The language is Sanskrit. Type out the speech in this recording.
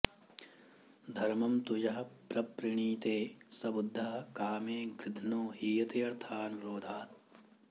धर्मं तु यः प्रणृणीते स बुद्धः कामे गृध्नो हीयतेऽर्थानुरोधात्